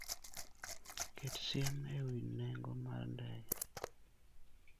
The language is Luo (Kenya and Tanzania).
Ket siem e wi nengo mar ndege.